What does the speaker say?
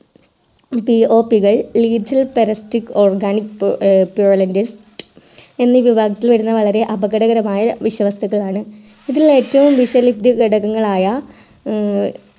PO കൾ lichil pradastic organic എന്നീ വിഭാഗത്തിൽ വരുന്ന വരെ അപകടകരമായ വിഷവസ്തുക്കളാണ് ഇതിൽ ഏറ്റവും ഘടകങ്ങൾ ആയ